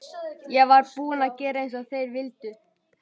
Ég var búin að gera eins og þeir vildu.